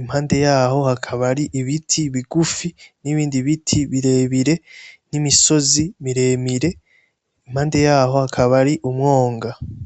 impande yaho hakaba ari ibiti bigufi nibindi biti birebire, n'imisozi miremire. Impande yaho hakaba ari umwonga.